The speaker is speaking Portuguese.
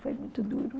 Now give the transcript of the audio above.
Foi muito duro.